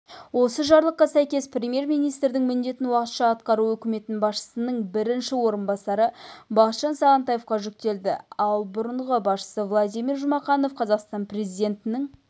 осы жарлыққа сәйкес премьер-министрдің міндетін уақытша атқару үкімет басшысының бірінші орынбасары бақытжан сағынтаевқа жүктелді ал бұрынғы басшысы владимир жұмақанов қазақстан президентінің